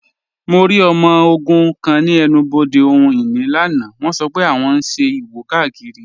Mọ̀ rí ọmọ ogun̄ kan ni ènù-bodè ohun-inì lánà, wọ̣n sọ́ pẹ̀ wọ̣n n ṣẹ̀ ìwò-kákírí.